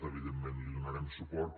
evidentment hi donarem suport